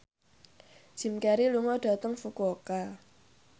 Jim Carey lunga dhateng Fukuoka